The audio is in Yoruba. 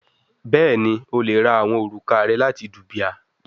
Bẹẹni, o le ra awọn oruka rẹ lati dubia